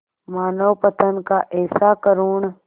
मानवपतन का ऐसा करुण